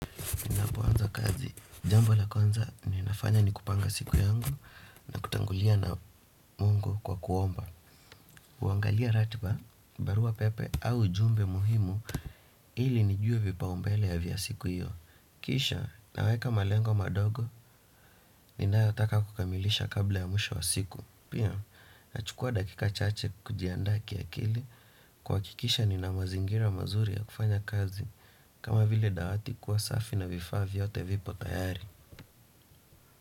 Napoanza kazi, jambo la kwanza ninafanya ni kupanga siku yangu na kutangulia na mungu kwa kuomba huangalia ratiba, barua pepe au ujumbe muhimu ili nijue vipaumbele ya vya siku hiyo. Kisha, naweka malengo madogo, ninayotaka kukamilisha kabla ya mwisho wa siku. Pia, nachukua dakika chache kujiandaa kiakili kuhakikisha nina mazingira mazuri ya kufanya kazi. Kama vile dawati kuwa safi na vifaa vyote vipo tayari.